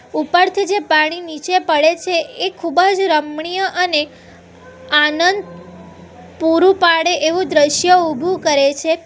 ઉપરથી જે પાણી નીચે પડે છે એ ખૂબ જ રમણીય અને આનંદ પૂરું પાડે એવું દ્રશ્ય ઉભું કરે છે.